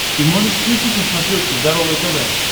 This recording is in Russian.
ты можешь включить на смотрешке здоровое тв